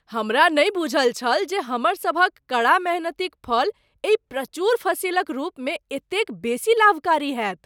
हमरा नहि बूझल छल जे हमर सभक कड़ा मेहनतिक फल एहि प्रचुर फसिलक रूपमे एतेक बेसी लाभकारी होयत।